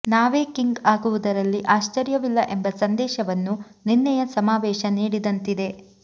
ನಾವೇ ಕಿಂಗ್ ಆಗುವುದರಲ್ಲಿ ಆಶ್ಚರ್ಯವಿಲ್ಲ ಎಂಬ ಸಂದೇಶವನ್ನು ನಿನ್ನೆಯ ಸಮಾವೇಶ ನೀಡಿದಂತಿದೆ